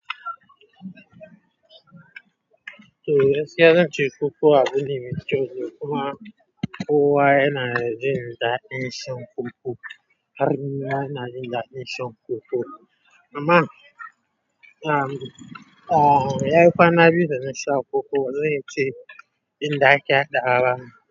To, gaskiya zan ce koko abine mai chizo kuma kowa yana jin da jin shan koko. Har ni ma ina jin dadin shan koko. Amma, um, um, yayi kwana biyu dana sha koko, wanne in ce inda ake hadawa.